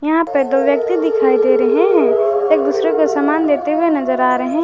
यहां पे दो व्यक्ति दिखाई दे रहे हैं एक दूसरे को समान देते हुए नजर आ रहे--